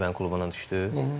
Malda bəyin klubuna düşdü.